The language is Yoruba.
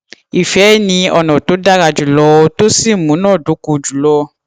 ìfẹ ni ọnà tó dára jùlọ tó sì múná dóko jùlọ